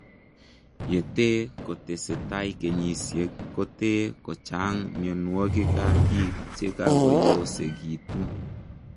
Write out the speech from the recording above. Yetee kotesetai kenyisiek kotee kochang mionwogiik ap piik chekakoyosegituu